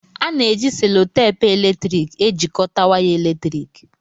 A na-eji selotepu eletrik ejikọta waya eletriki